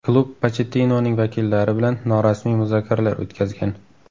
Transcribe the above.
Klub Pochettinoning vakillari bilan norasmiy muzokaralar o‘tkazgan.